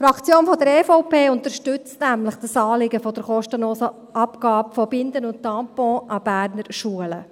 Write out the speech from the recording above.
Die Fraktion EVP unterstützt nämlich das Anliegen der kostenlosen Abgabe von Binden und Tampons an Berner Schulen.